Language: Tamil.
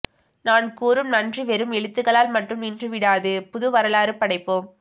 நான் கூறும் நன்றி வெறும் எழுத்துக்களால் மட்டும் நின்று விடாது புது வரலாறு படைப்போம்